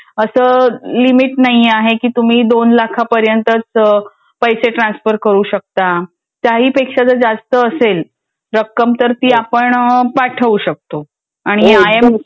असं लिमिट नाही आहे की तुम्ही दोन लाखापर्यंत पैसे ट्रान्सफर करू शकता. त्याहीपेक्षा जर जास्त असेल रक्कम तर ती आपण पाठवू शकतो. आणि आय एम.